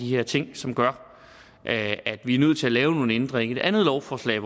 her ting som gør at vi er nødt til at lave nogle ændringer i et andet lovforslag